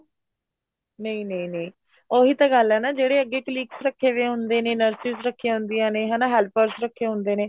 ਨਹੀਂ ਨਹੀਂ ਨਹੀਂ ਉਹੀ ਤਾਂ ਗੱਲ ਏ ਨਾ ਜਿਹੜੇ ਅੱਗੇ colleagues ਰੱਖੇ ਪਏ ਹੁੰਦੇ ਨੇ nurses ਰੱਖੀਆਂ ਹੁੰਦੀਆਂ ਨੇ ਹਨਾ helpers ਰੱਖੇ ਹੁੰਦੇ ਨੇ